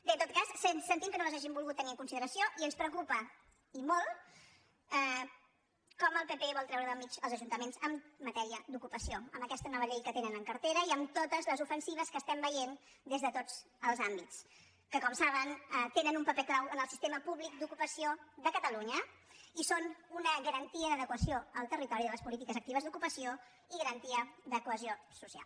bé en tot cas sentim que no les hagin volgut tenir en consideració i ens preocupa i molt com el pp vol treure del mig els ajuntaments en matèria d’ocupació amb aquesta nova llei que tenen en cartera i amb totes les ofensives que estem veient des de tots els àmbits que com saben tenen un paper clau en el sistema pú·blic d’ocupació de catalunya i són una garantia d’ade·quació al territori de les polítiques actives d’ocupació i garantia de cohesió social